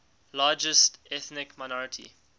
largest ethnic minority